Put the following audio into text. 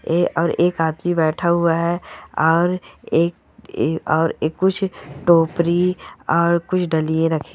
ऐ और एक बैठा हुआ है और एक और कुछ टोपरी और कुछ डलिये रखी है।